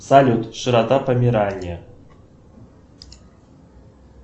салют широта померания